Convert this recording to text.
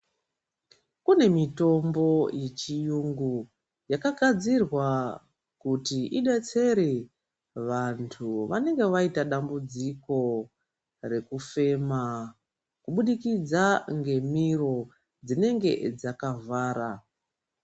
Kune mitombo yechiyungu yakagadzirwa kuti idetsere vantu vanenge vaita dambudziko rekufema kubudikidza ngemiro dzinenge dzakavhara.